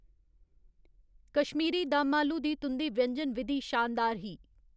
कश्मीरी दम आलू दी तुं'दी व्यंजन विधि शानदार ही।